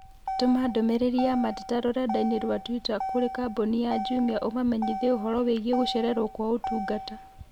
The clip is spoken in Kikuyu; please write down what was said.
Tũma ndũmĩrĩri ya mateta rũrenda-inī rũa tũita kũrĩ kambuni ya Jumia ũmamenyithie ũhoro wĩgiĩ gũcererũo gwa ũtungata